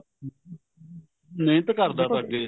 ਮਿਹਨਤ ਕਰਦਾ